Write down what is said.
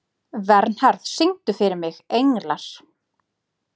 Vernharð, syngdu fyrir mig „Englar“.